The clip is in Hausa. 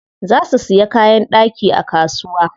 Za su siya kayan ɗaki a kasuwa.